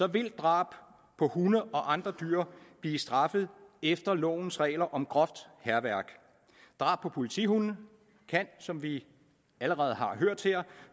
vil drab på hunde og andre dyr blive straffet efter lovens regler om groft hærværk drab på politihunde kan som vi allerede har hørt her